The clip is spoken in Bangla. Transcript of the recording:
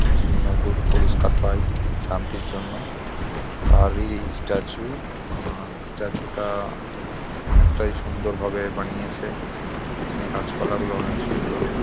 যিনি নোবেল পুরস্কার পায় শান্তির জন্য তারই স্ট্যাচু আর স্ট্যাচুটা অনেকটাই সুন্দরভাবে বানিয়েছে গাছপালাগুলো অনেক সুন্দর।